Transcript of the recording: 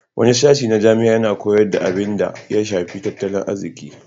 Wani sashin na jami'a yana koyar da abinda ya shafi tattalin arziki.